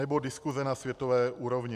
Anebo diskuse na světové úrovni.